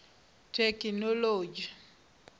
thekhinoḽodzhi